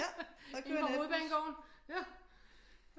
Indefra Hovedbanegården